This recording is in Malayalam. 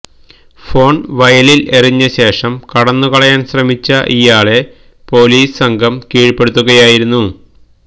ഫോൺ വയലിൽ എറിഞ്ഞ ശേഷം കടന്നുകളയാൻ ശ്രമിച്ച ഇയാളെ പൊലീസ് സംഘം കീഴ്പെടുത്തുകയായിരുന്നു